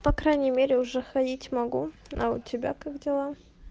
по крайней мере уже ходить могу а у тебя как дела